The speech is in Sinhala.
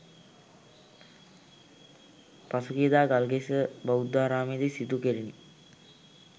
පසුගියදා ගල්කිස්ස බෞද්ධාරාමයේදී සිදු කෙරිණි